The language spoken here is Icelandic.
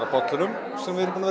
af bollunum sem við erum búin